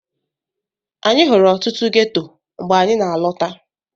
Anyị hụrụ ọtụtụ ghetto mgbe anyị na-alọta.